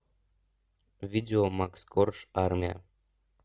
видео макс корж армия